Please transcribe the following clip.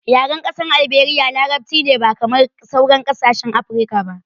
Yaren ƙasar Alberia larabci ne ba kamar sauran kasashen Afirka ba